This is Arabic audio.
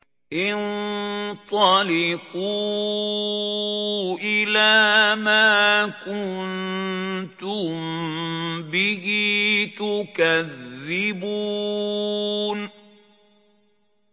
انطَلِقُوا إِلَىٰ مَا كُنتُم بِهِ تُكَذِّبُونَ